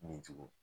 Ni ju